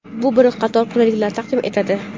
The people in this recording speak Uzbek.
Bu bir qator qulayliklar taqdim etadi.